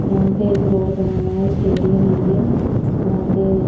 यहां पे एक रोड बना हुआ है स्टेडियम है ये यहां पे--